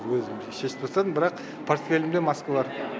өзімше шешіп тастадым бірақ портфелімде маска бар